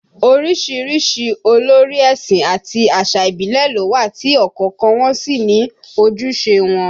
Orísìírísìí olórí ẹ̀sìn àti àṣà ìbílẹ̀ ló wà tí ọ̀kọ̀ọ̀kan wọn sì ní ojúṣe wọn